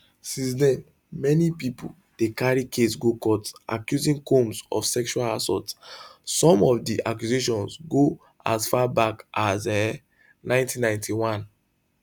since den many pipo don carry case go court accusing combs of sexual assault some of di accusations go as far back as um 1991